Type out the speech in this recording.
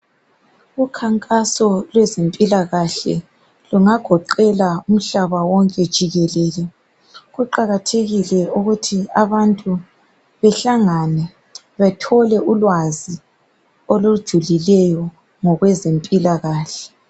ukhankaso lwezempilakahle lungagoqela umhlaba wonke jikelele, kuqakathekile ukuthi abantu behlangane bathole ulwazi olujulileyo ngokweze mpilakahle